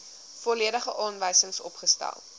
volledige aanwysings opgestel